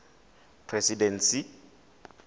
presidency